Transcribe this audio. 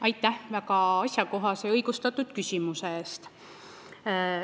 Aitäh väga asjakohase ja õigustatud küsimuse eest!